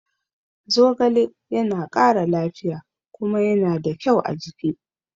Zogale ya na ƙara lafiya kuma ya na da kyau a jiki